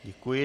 Děkuji.